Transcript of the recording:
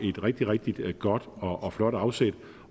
et rigtig rigtig godt og flot afsæt